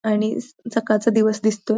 आणि स सकाळचा दिवस दिसतोय.